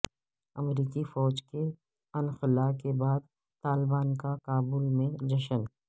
امریکی فوج کے انخلا کے بعد طالبان کا کابل میں جشن